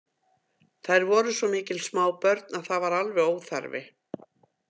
Þær voru svo mikil smábörn að það var alveg óþarfi.